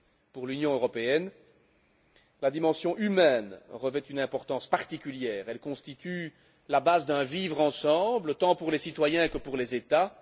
Pour l'Union européenne, la dimension humaine revêt une importance particulière elle constitue la base d'un vivre ensemble, tant pour les citoyens que pour les États.